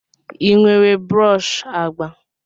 Ị nwere brọsh agba?